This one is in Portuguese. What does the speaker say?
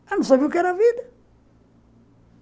Ela não sabia o que era a vida.